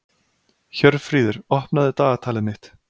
Hjörfríður, opnaðu dagatalið mitt.